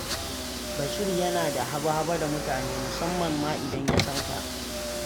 Bashir yana da haba-haba da mutane, musamman ma idan ya san ka.